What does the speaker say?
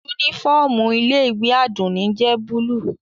Unifọmú ile-iwe Adunni jẹ buluu.